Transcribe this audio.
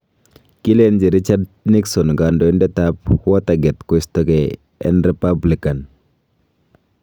Kilenji Richard Nixon kandoindet ab Watergate Kostogeei en Republican.